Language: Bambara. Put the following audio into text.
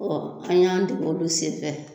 Ɔ an y'an dege olu senfɛ